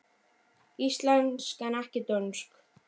Íslensk en ekki dönsk.